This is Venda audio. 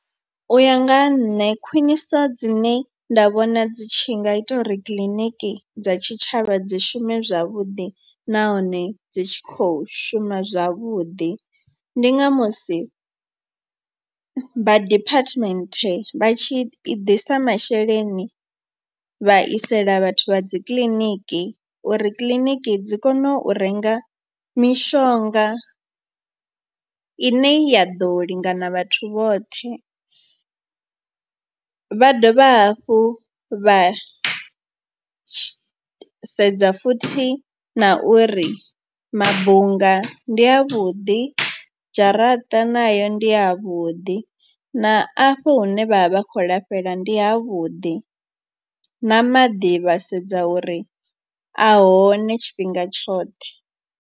U ya nga ha nṋe khwiniso dzine nda vhona dzi tshi nga ita uri kiḽiniki dza tshitshavha dzi shume zwavhuḓi nahone dzi tshi kho shuma zwavhuḓi. Ndi nga musi vha department vha tshi i ḓisa masheleni vha isela vhathu vha dzi kiḽiniki uri kiḽiniki dzi kone u renga mishonga ine ya ḓo lingana vhathu vhoṱhe. Vha dovha hafhu vha sedza futhi na uri mabunga ndi avhuḓi, dzharaṱa nayo ndi ya vhuḓi na afho hune vha vha vha khou lafhela ndi havhuḓi, na maḓi vha sedza uri a hone tshifhinga tshoṱhe.